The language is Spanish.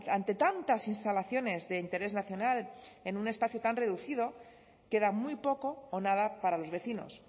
ante tantas instalaciones de interés nacional en un espacio tan reducido queda muy poco o nada para los vecinos